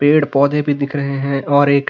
पेड़-पौधे भी दिख रहे है और एक --